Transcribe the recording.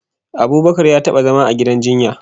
Abubakar ya taba zama a gidan jinya